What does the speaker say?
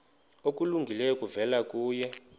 okulungileyo kuvela kuye